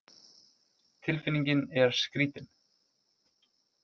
Tilfinningin er skrítin